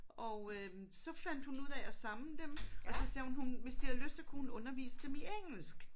Og øh så fandt hun ud af at samle dem og så sagde hun hun hvis de havde lyst så kunne hun undervise dem i engelsk